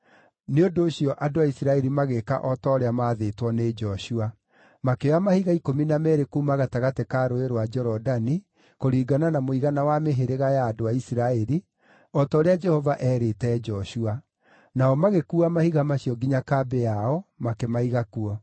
Nĩ ũndũ ũcio andũ a Isiraeli magĩĩka o ta ũrĩa maathĩtwo nĩ Joshua. Makĩoya mahiga ikũmi na meerĩ kuuma gatagatĩ ka Rũũĩ rwa Jorodani, kũringana na mũigana wa mĩhĩrĩga ya andũ a Isiraeli, o ta ũrĩa Jehova eerĩte Joshua; nao magĩkuua mahiga macio nginya kambĩ yao, makĩmaiga kuo.